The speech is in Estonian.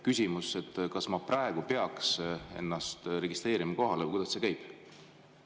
Küsimus: kas ma praegu peaks ennast kohalolijaks registreerima või kuidas see käib?